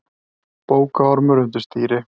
Bókaormur undir stýri